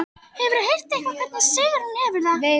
Hefurðu heyrt eitthvað um hvernig Sigrún hefur það?